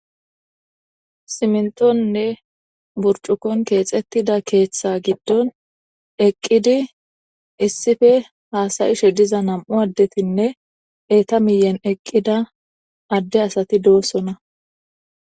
Simintonne burcukon keexettida keeththa giddon eqqidi issife haasayishe diza nam'u addetinne eeta miyen eqqida adde asati doossona.